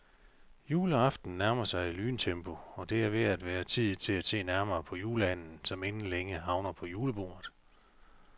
Juleaften nærmer sig i lyntempo, og det er ved at være tid til at se nærmere på juleanden, som inden længe havner på julebordet.